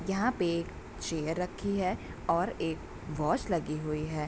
यहाँ पे चेयर रखी है और एक वॉच लगी हुई है।